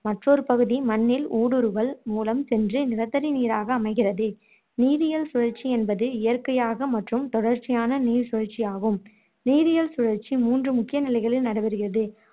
மற்றொரு பகுதி மண்ணில் ஊடுருவல் மூலம் சென்று நிலத்தடிநீராக அமைகிறது நீரியியல் சுழற்சி என்பது இயற்கையாக மற்றும் தொடர்ச்சியான நீர்ச்சுழற்சியாகும் நீரியியல் சுழற்சி மூன்று முக்கிய நிலைகளில் நடைபெறுகிறது